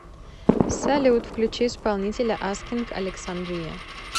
салют включи исполнителя аскинг александрия